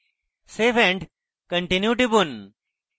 save and continue টিপুন